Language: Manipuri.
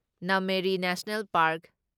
Nameri national park